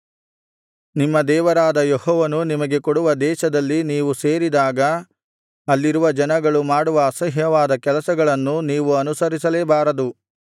ನಿಮ್ಮ ದೇವರಾದ ಯೆಹೋವನು ನಿಮಗೆ ಕೊಡುವ ದೇಶದಲ್ಲಿ ನೀವು ಸೇರಿದಾಗ ಅಲ್ಲಿರುವ ಜನಗಳು ಮಾಡುವ ಅಸಹ್ಯವಾದ ಕೆಲಸಗಳನ್ನು ನೀವು ಅನುಸರಿಸಲೇಬಾರದು